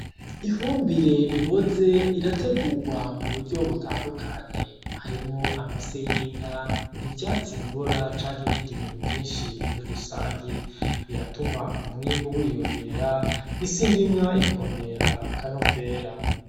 Ifumbire iboze irategurwa mu buryo butandukanye, harimwo amase y'inka, ivyatsi bibora canke ibindi bintu vyinshi muri rusangi, biratuma umwimbu wiyongera, isi ndimwa ikongera akanovera.